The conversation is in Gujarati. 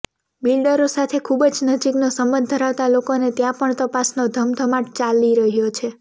બિલ્ડરો સાથે ખૂબજ નજીકનો સંબંધ ધરાવતા લોકોને ત્યાં પણ તપાસનો ધમધમાટ ચાલી રહ્યો છે